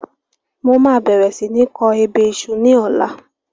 Mo máa bẹ̀rẹ̀ si ni kọ ebè iṣu ni ọ̀la